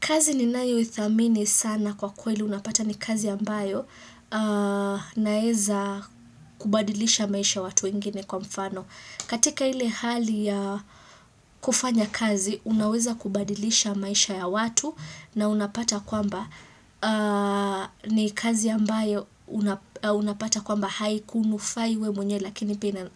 Kazi ninayo idhamini sana kwa kweli unapata ni kazi ambayo naeza kubadilisha maisha watu wengine kwa mfano. Katika ile hali ya kufanya kazi, unaweza kubadilisha maisha ya watu na unapata kwamba ni kazi ambayo unapata kwamba haikununufai wewe mwenye lakini pina